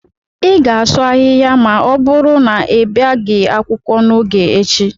ị ga-asụ ahịhịa ma ọ bụrụ na ị bịaghị akwụkwọ n'oge echi